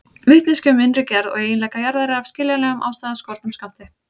Vitneskja um innri gerð og eiginleika jarðar er af skiljanlegum ástæðum af skornum skammti.